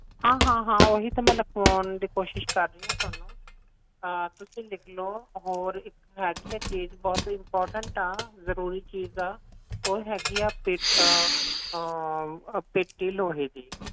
ਹਾਂ ਹਾਂ ਹਾਂ ਓਹੀ ਤਾਂ ਮੈਂ ਲਿਖਵਾਉਣ ਦੀ ਕੋਸ਼ਿਸ਼ ਕਰ ਰਹੀ ਆ ਤੁਹਾਨੂੰ ਤੁਸੀ ਲਿਖ ਲੋ ਹੋਰ ਇੱਕ ਹੈਗੀ ਆ ਚੀਜ ਬਹੁਤ important ਆ ਜਰੂਰੀ ਚੀਜ ਆ ਉਹ ਹੈਗੀ ਆ ਪੇਟੀ ਲੋਹੇ ਦੀ